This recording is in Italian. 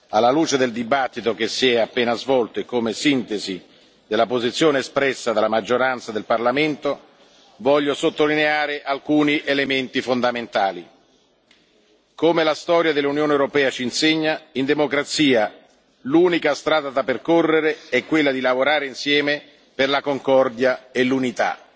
Alla luce della discussione che si è appena svolta e come sintesi della posizione espressa dalla maggioranza del Parlamento, voglio sottolineare alcuni elementi fondamentali come la storia dell'Unione europea ci insegna, in democrazia l'unica strada da percorrere è quella di lavorare insieme per la concordia e l'unità.